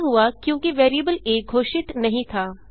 यह हुआ क्योंकि वेरिएबल आ घोषित नहीं था